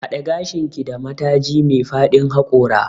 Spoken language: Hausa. Haɗe gashinki da mataji me fadin haƙora.